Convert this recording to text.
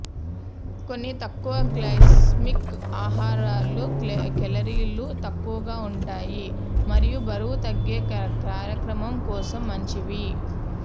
కొన్ని తక్కువ గ్లైసెమిక్ ఆహారాలు కేలరీలు తక్కువగా ఉంటాయి మరియు బరువు తగ్గే కార్యక్రమం కోసం మంచివి